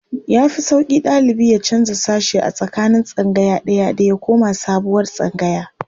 Ya fi sauƙi ɗalibi ya canja sashe a tsakanin tsangaya ɗaya da ya koma sabuwar tsangaya.